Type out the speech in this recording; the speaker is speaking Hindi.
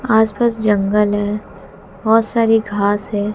आस पास जंगल है बहोत सारी घास है।